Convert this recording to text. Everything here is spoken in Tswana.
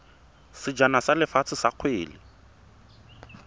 sejana sa lefatshe sa kgwele